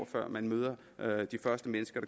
før man møder de første mennesker